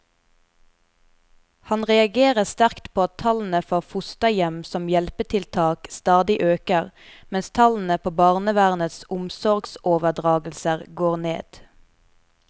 Han reagerer sterkt på at tallene for fosterhjem som hjelpetiltak stadig øker, mens tallene på barnevernets omsorgsoverdragelser går ned.